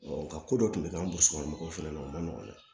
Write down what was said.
nga ko dɔ tun bɛ k'an bɔ so kɔnɔ mɔgɔw fana o man nɔgɔn dɛ